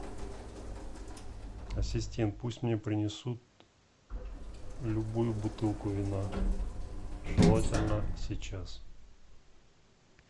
ассистент пусть мне принесут любую бутылку вина желательно сейчас